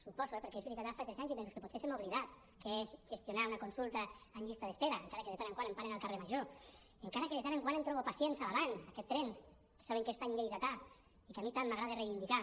suposo eh perquè és veritat ara fa tres anys i mesos que potser se m’ha oblidat què és gestionar una consulta en llista d’espera encara que de tant en tant em paren al carrer major encara que de tant en tant em trobo pacients a l’avant aquest tren que saben que és tan lleidatà i que a mi tant m’agrada reivindicar